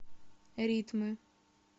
ритмы